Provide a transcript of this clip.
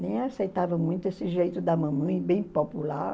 nem aceitava muito esse jeito da mamãe, bem popular.